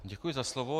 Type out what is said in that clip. Děkuji za slovo.